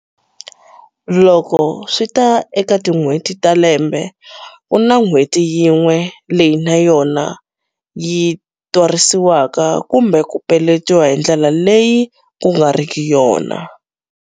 Loko swi ta eka tin'hweti ta lembe ku na n'hweti yin'we leyi na yona yi twarisiwaka kumbe ku peletiwa hi ndlela leyi kku nga riki yona.